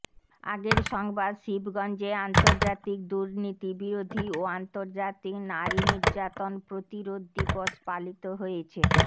আগের সংবাদ শিবগঞ্জে আন্তর্জাতিক দুর্নীতি বিরোধী ও আন্তর্জাতিক নারী নির্যাতন প্রতিরোধ দিবস পালিত হয়েছে